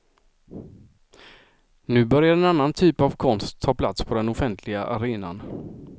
Nu börjar en annan typ av konst ta plats på den offentliga arenan.